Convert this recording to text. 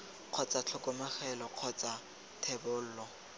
kgotsa tlhokomologo kgotsa c thebolo